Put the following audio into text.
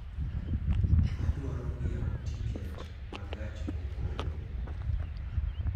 Adwaro ng'iewo tiket ma gach okolo